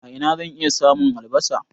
A ina zan iya samun albasa?